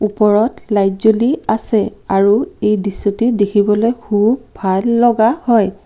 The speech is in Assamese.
ওপৰত লাইট জ্বলি আছে আৰু এই দৃশ্যটি দেখিবলৈ খুব ভাল লগা হয়।